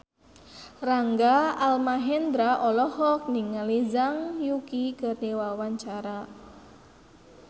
Rangga Almahendra olohok ningali Zhang Yuqi keur diwawancara